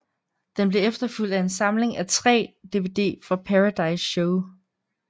Den blev efterfulgt af en samling af 3 DVD fra Paradize Show